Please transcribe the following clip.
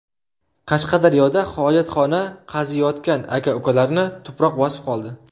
Qashqadaryoda hojatxona qaziyotgan aka-ukalarni tuproq bosib qoldi.